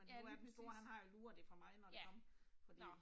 Ja lige præcis. Ja, Nåh